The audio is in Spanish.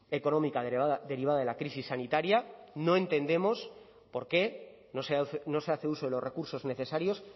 económica derivada de la crisis sanitaria no entendemos por qué no se hace uso de los recursos necesarios